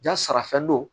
Jasara fɛn dɔ